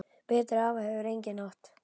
Betri afa hefur enginn átt.